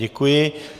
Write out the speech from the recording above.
Děkuji.